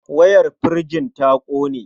Wayar firjin ta ƙone.